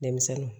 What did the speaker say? Denmisɛnninw